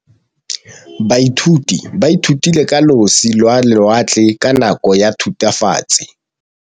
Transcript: Baithuti ba ithutile ka losi lwa lewatle ka nako ya Thutafatshe.